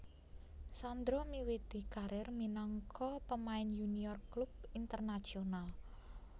Sandro miwiti karir minangka pemain yunior klub Internacional